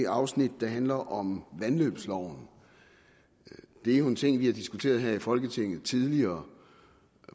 afsnit der handler om vandløbsloven det er jo en ting vi har diskuteret her i folketinget tidligere